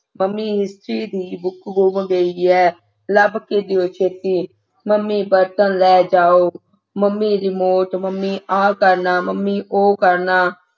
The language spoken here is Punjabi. ਮੰਮੀ history ਦੀ book ਗੁੰਮ ਗਈ ਹੈ ਲੱਭ ਕੇ ਦਿਓ ਛੇਤੀ ਮੰਮੀ ਬਰਤਨ ਲੈ ਜਾਓ ਮੰਮੀ remort ਮੰਮੀ ਆ ਕਰਨਾ ਮੰਮੀ ਉਹ ਕਰਨਾ